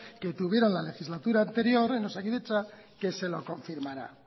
que tuvieron la legislatura anterior en osakidetza que se lo confirmará